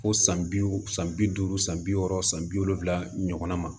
Fo san bi san bi duuru san bi wɔɔrɔ san bi wolonvila ɲɔgɔnna ma